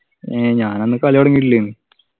ഏഹ് ഞാനന്ന് കളി തൊടങ്ങീട്ടില്ലേനു